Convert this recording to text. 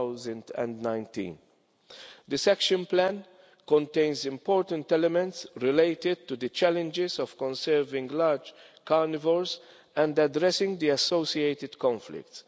of 2019. This action plan contains important elements related to the challenges of conserving large carnivores and addressing the associated conflicts.